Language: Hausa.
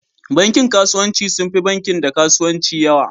Bankin kasuwanci sun fi bankin Dan kasuwanci yawa.